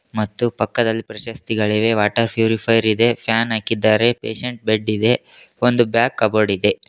ಮತ್ತು ಪಕ್ಕದಲ್ಲಿ ಪ್ರಶಸ್ತಿಗಳಿವೆ ವಾಟರ್ ಪ್ಯೂರಿಫೈಯರ್ ಇದೆ ಫ್ಯಾನ್ ಹಾಕಿದ್ದಾರೆ ಪೇಷಂಟ್ ಬೆಡ್ಡಿದೆ ಒಂದು ಬ್ಯಾಗ್ ಕಬೋರ್ಡಿದೆ.